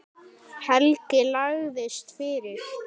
Helgi lagðist fyrir.